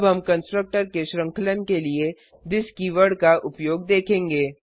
अब हम कंस्ट्रक्टर के श्रृंखलन के लिए थिस कीवर्ड का उपयोग देखेंगे